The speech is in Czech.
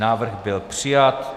Návrh byl přijat.